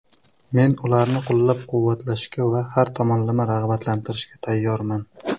Men ularni qo‘llab-quvvatlashga va har tomonlama rag‘batlantirishga tayyorman.